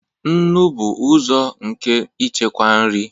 nnu bụ ụzọ nke ichekwa nri